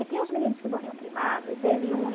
E tem os meninos que morriam queimados, e teve um em